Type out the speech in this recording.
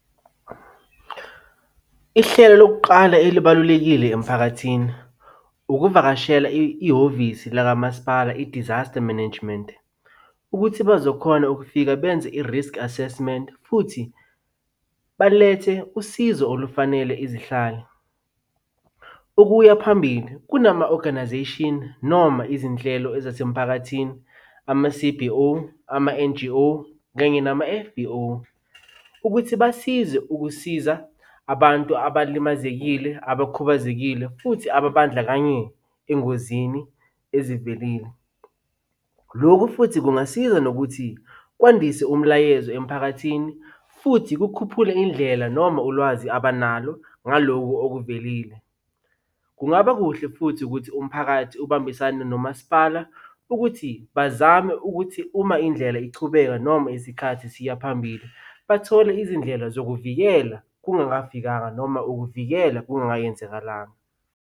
Ihlelo lokuqala elibalulekile emphakathini, ukuvakashela ihhovisi lakamasipala i-Disaster Management, ukuthi bazokhona ukufika benze i-risk assessment futhi balethe usizo olufanele izihlali. Ukuya phambili kunama-organization noma izinhlelo ezasemphakathini, ama-C_B_O, ama-N_G_O, kanye nama-F_B_O, ukuthi basize ukusiza abantu abalimazekile, abakhubazekile, futhi ababandlakanye engozini ezivelile. Lokhu futhi kungasiza nokuthi kwandise umlayezo emphakathini futhi kukhuphule indlela noma ulwazi abanalo ngalokhu okuvelile. Kungaba kuhle futhi ukuthi umphakathi ubambisane nomasipala ukuthi bazame ukuthi uma indlela ichubeka noma isikhathi siya phambili bathole izindlela zokuvikela kungakafikanga noma ukuvikela kungayenzakalanga.